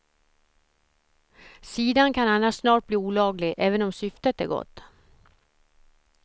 Sidan kan annars snart bli olaglig även om syftet är gott.